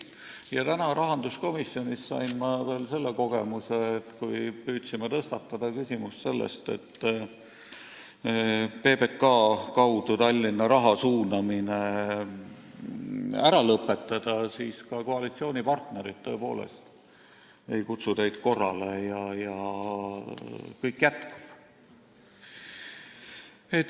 Täna sain ma rahanduskomisjonis veel selle kogemuse, kui me püüdsime tõstatada küsimust, et PBK kaudu Tallinna raha suunamine tuleks ära lõpetada, siis ka koalitsioonipartnerid tõepoolest ei kutsunud teid korrale ja kõik jätkub.